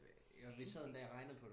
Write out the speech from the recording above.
Fancy